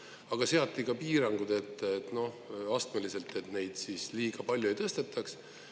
Aga seati ka piirangud astmeliselt, et neid liiga palju ei tõstetaks.